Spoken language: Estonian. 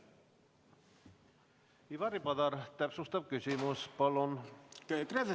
Ivari Padar, täpsustav küsimus palun!